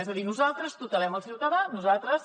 és a dir nosaltres tutelem el ciutadà nosaltres